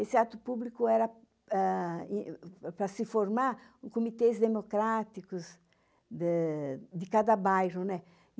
Esse ato público era para se formar comitês democráticos de cada bairro.